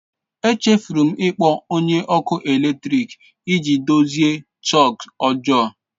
Echefuru m ịkpọ onye ọkụ eletrik iji dozie sọks ọjọọ.